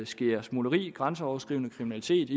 sker smugleri grænseoverskridende kriminalitet